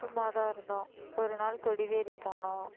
சும்மாதான் இருந்தோம் ஒரு நாள் கொடிவேரி போனோம்